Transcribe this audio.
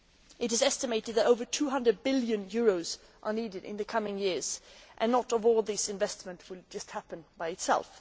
It is estimated that over EUR 200 billion are needed in the coming years, and not all this investment will just happen by itself.